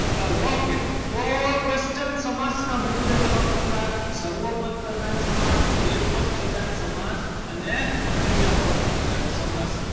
ચલો okay તો question સમાસના મુખ્ય ત્રણ પ્રકાર છે. સર્વોપદ પ્રધાન સમાસ, એક પદ પ્રધાન સમાસ અને અન્ય પદ પ્રધાન સમાસ.